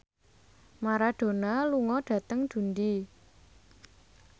Maradona lunga dhateng Dundee